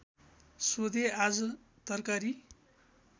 सोधे आज तरकारी